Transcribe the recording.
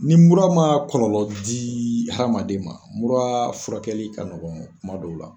Ni mura ma kɔlɔlɔ di hadamaden ma, mura furakɛli ka nɔgɔ kuma dɔw la.